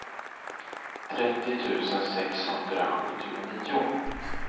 trettio tusen sexhundrasjuttionio